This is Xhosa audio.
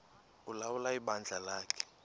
ulawula ibandla lakhe